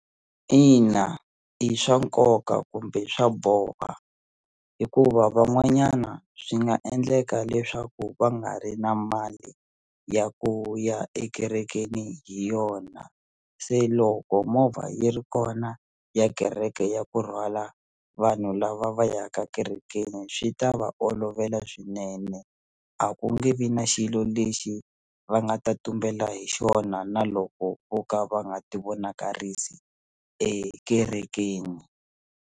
Ina i swa nkoka kumbe swa boha hikuva van'wanyana swi nga endleka leswaku va nga ri na mali ya ku ya ekerekeni hi yona se loko movha yi ri kona ya kereke ya ku rhwala vanhu lava va yaka kerekeni swi ta va olovela swinene a ku nge vi na xilo lexi va nga ta tumbela hi xona na loko vo ka va nga ti vonakarisa ekerekeni.